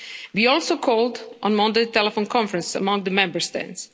We also called on Monday a telephone conference among the Member States.